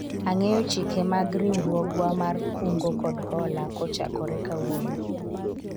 ang'eyo chike mag riwruogwa mar kungo kod hola kochakore kawuono